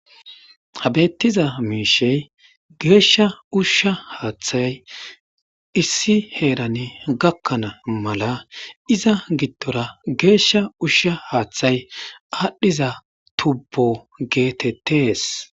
Ha bettiza miishey geeshsha ushsha haaththay issi heeran gakkana mala iza gittora geeshsha ushsha haaththay aadhdhiza tubbo geetettees.